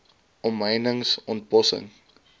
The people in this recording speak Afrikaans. omheinings ont bossing